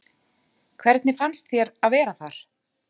Hvernig fannst þér að vera þar?